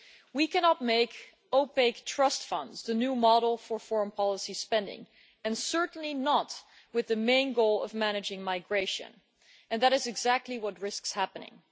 We cannot make opaque trust funds the new model for foreign policy spending and certainly not with the main goal of managing migration, and that is exactly what risks happening.